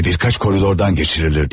Və bir neçə koridordan keçirilirdi.